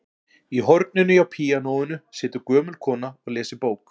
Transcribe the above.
Í horninu hjá píanóinu situr gömul kona og les í bók.